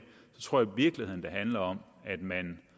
så tror virkeligheden handler om at man